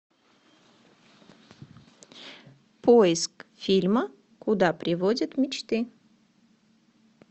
поиск фильма куда приводят мечты